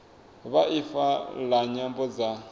ya ifa la nyambo dza